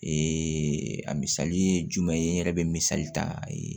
a misali ye jumɛn ye n yɛrɛ bɛ misali ta a ye